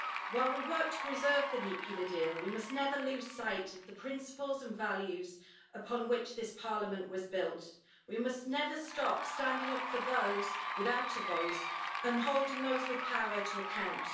While we work to preserve the nuclear deal, we must never lose sight of the principles and values upon which this Parliament was built. We must never stop standing up for those without a voice and holding those with power to account.